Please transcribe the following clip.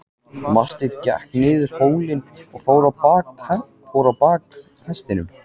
Marteinn gekk niður hólinn og fór á bak hestinum.